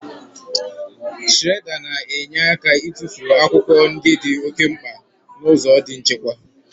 Shiredà na-enyere aka ịtụfu akwụkwọ ndị di oké mkpa n'ụzọ di nchekwa.